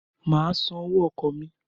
Mà á san owó ọkọ̀ mi.